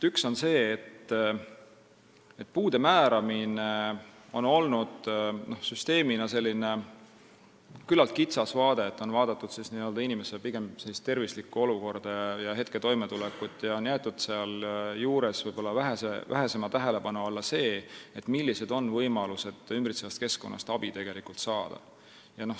Üks on see, et puude määramine on süsteemina toimunud küllalt kitsas vaates, on vaadatud pigem inimese tervislikku olukorda ja hetketoimetulekut ning võib-olla vähesema tähelepanu alla on jäetud see, millised on võimalused abi saada.